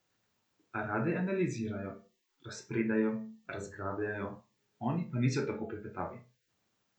Rade analizirajo, razpredajo, razglabljajo, oni pa niso tako klepetavi.